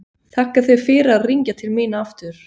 Þakka þér fyrir að hringja til mín aftur.